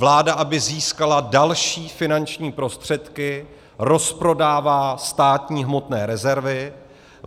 Vláda, aby získala další finanční prostředky, rozprodává státní hmotné rezervy.